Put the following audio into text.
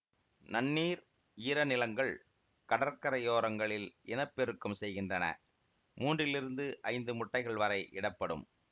நன்னீர் ஈரநிலங்கள் கடற்கரையோரங்களில் இனப்பெருக்கம் செய்கின்றன மூன்றிலிருந்து ஐந்து முட்டைகள் வரை இடப்படும்